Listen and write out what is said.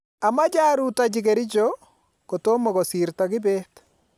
Amache arutochi Kericho kotomo kosirto Kibet